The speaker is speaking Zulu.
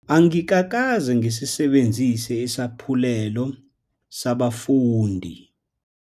Angikakaze ngisisebenzise isaphulelo sabafundi.